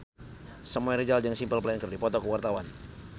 Samuel Rizal jeung Simple Plan keur dipoto ku wartawan